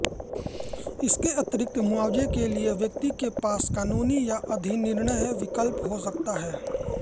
इसके अतिरिक्त मुआवजे के लिए व्यक्ति के पास कानूनी या अधिनिर्णय विकल्प हो सकता है